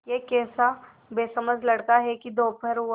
यह कैसा बेसमझ लड़का है कि दोपहर हुआ